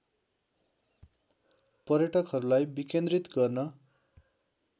पर्यटकहरूलाई विकेन्द्रित गर्न